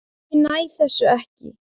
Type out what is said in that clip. Ég næ þessu ekki.